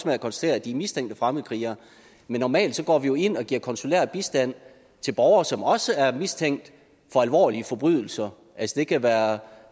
med at konstatere at de er mistænkt at fremmedkrigere normalt går vi ind og giver konsulær bistand til borgere som også er mistænkt for alvorlige forbrydelser det kan være